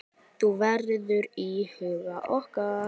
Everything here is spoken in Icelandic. Þú verður í huga okkar.